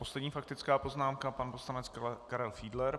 Poslední faktická poznámka pan poslanec Karel Fiedler.